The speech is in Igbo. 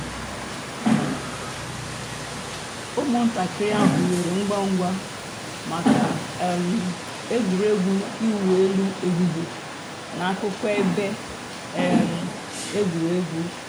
ụ́mụ̀ntàkìrì àhụ̀ hìwèrè ngwá ngwá mǎká um ègwè́régwụ̀ ị̀wụ̀ èlù èhìhìè n'àkùkò èbè um ègwè́régwụ̀.